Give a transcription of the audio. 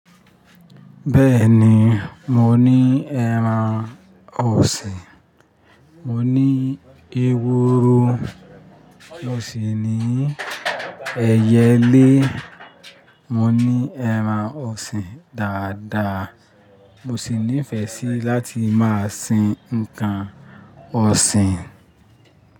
Bẹ́ẹ̀ni, mo ní ẹran ọ̀sìn, mo ní eworo, mọ̀sì ni ẹyẹlé, mo ní ẹran ọ̀sìn dáadáa. Mo sì nífẹ sí láti máa sin nǹkan ọ̀sìn.